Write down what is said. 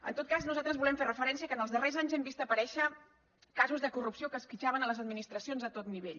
en tot cas nosaltres volem fer referència que en els darrers anys hem vist aparèixer casos de corrupció que esquitxaven les administracions a tot nivell